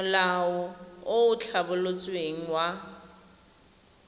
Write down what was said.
molao o o tlhabolotsweng wa